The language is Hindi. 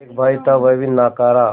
एक भाई था वह भी नाकारा